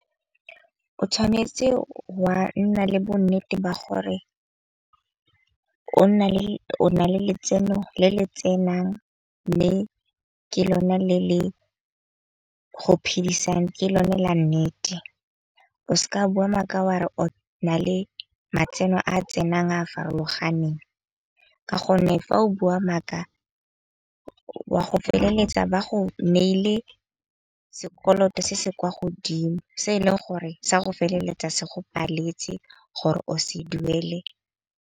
O tshwanetse wa nna le bonnete ba gore o nna le o na le letseno le le tsenang. Mme ke lone le le go phidisang. Ke lone la nnete. O seka bua maaka wa re o na le matseno a tsenang a farologaneng. Ka gonne fa o bua maaka wa go feleletsa ba go neile sekoloto se se kwa godimo. Se e leng gore sa go feleletsa se go paletse gore o se duele.